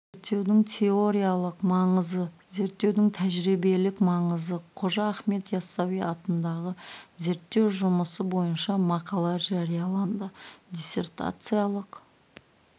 зерттеудің теориялық маңызы зерттеудің тәжірибелік маңызы қожа ахмет яссауи атындағы зерттеу жұмысы бойынша мақала жарияланды диссертациялық